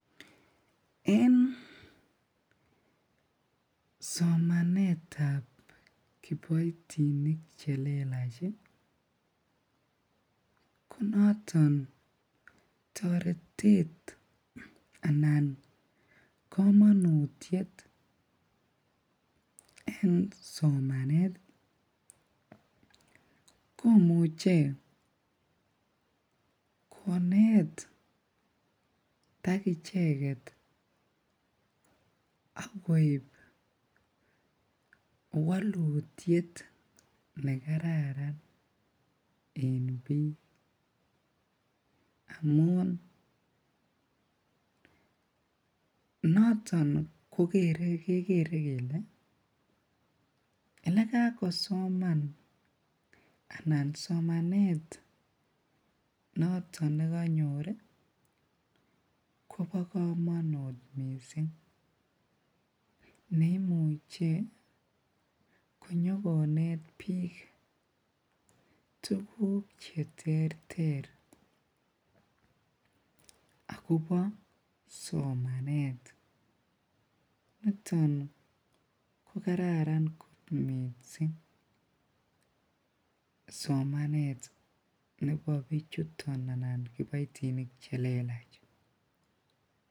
En somanetab kiboitinik chelelach ko noton toretet anan komonutiet en somanet komuche koneetak icheket ak koib wolutiet nekararan en biik amun noton kokere kekere kelee elekakosoman anan somanet noton nekonyor kobokomonut mising neimuche konyo konet biik tukuk cheterter akobo somanet, niton ko kararan kot mising somanet nebo bichuton anan kiboitinik chelelach.